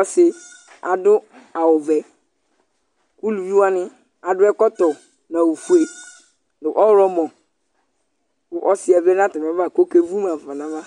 ɔsɩ adʋ awʋvɛ Uluvi wanɩ adʋ ɛkɔtɔ nʋ awʋfue nʋ ɔɣlɔmɔ kʋ ɔsɩ yɛ vlɛ nʋ atamɩava kʋ ɔkevu ma ɣa fa nʋ ava